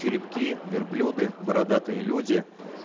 черепки верблюды бородатые люди